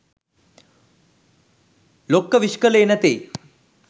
ලොක්ක විශ් කලේ නැතෙයි?